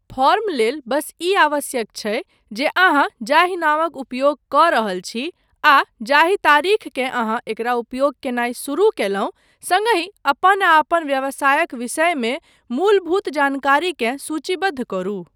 Form लेल बस ई आवश्यक छै जे अहाँ जाहि नामक उपयोग कऽ रहल छी आ जाहि तारीखकेँ अहाँ एकरा उपयोग कयनाय शुरू कयलहुँ, सङ्ग हि अपन आ अपन व्यवसायक विषयमे मे मूलभूत जानकारीकेँ सूचीबद्ध करू।